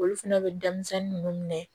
Olu fɛnɛ bɛ denmisɛnnin ninnu minɛ